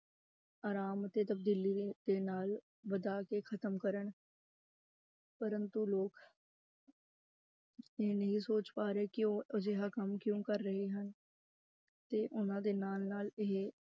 ਆਰਾਮ ਤੇ ਤਬਦੀਲੀ ਦੇ ਨਾਲ ਵਧਾ ਕੇ ਖ਼ਤਮ ਕਰਨ ਪ੍ਰੰਤੂ ਲੋਕ ਇਹ ਨਹੀਂ ਸੋਚ ਪਾ ਰਹੇ ਕਿ ਉਹ ਅਜਿਹਾ ਕੰਮ ਕਿਉਂ ਕਰ ਰਹੇ ਹਨ ਤੇ ਉਹਨਾਂ ਦੇ ਨਾਲ ਨਾਲ ਇਹ